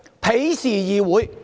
鄙視議會。